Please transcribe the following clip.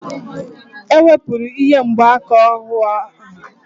E wepụrụ ihe mgbaaka ohu ahụ